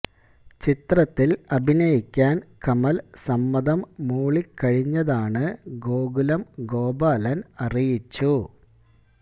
ചിത്രത്തില് അഭിനയിക്കാന് കമല് സമ്മതം മൂളിക്കഴിഞ്ഞതാണ് ഗോകുലം ഗോപാലന് അറിയിച്ചു